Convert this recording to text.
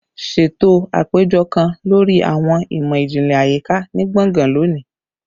Ṣeto apejọ kan lori Awọn imọ-jinlẹ Ayika ni gbongan loni